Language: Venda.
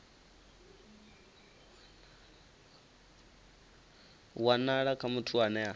wanala kha muthu ane a